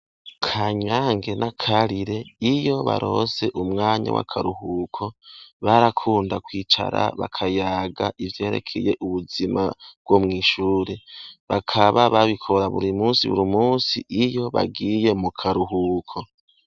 KANYANGE na KARIRE, iyo baronse umwanya w'akaruhuko, barakunda kwicara bakayaga ivyerekeye ubuzima bwo mw'ishure. Bakaba babikora buri musi buri musi iyo bagiye mu karuhuko.